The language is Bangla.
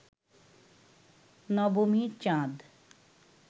নবমীর চাঁদ